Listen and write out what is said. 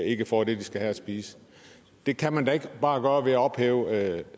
ikke får det de skal have at spise det kan man da ikke bare gøre ved at ophæve